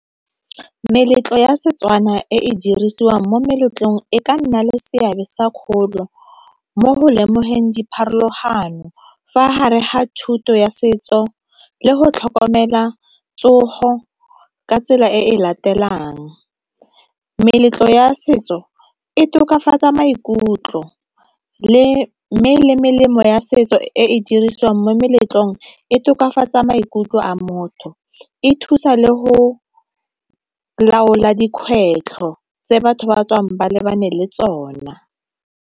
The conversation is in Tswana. Meletlo ya Setswana e e dirisiwang mo meletlong e ka nna le seabe sa kgolo mo go lemogeng dipharologano fa hare ha thuto ya setso le go tlhokomela tsogo ka tsela e latelang. Meletlo ya setso e tokafatsa maikutlo, mme le melemo ya setso e e dirisiwang mo meletlong e tokafatsa maikutlo a motho, e thusa le go laola dikgwetlho tse batho ba tswang ba lebane le tsona.